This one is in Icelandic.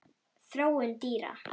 Þróun dýra